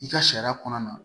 I ka sariya kɔnɔna na